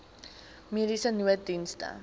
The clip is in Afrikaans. mediese nooddienste